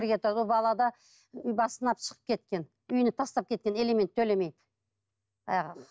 бірге тұрады ол бала да шығып кеткен үйіне тастап кеткен алимент төлемей баяғы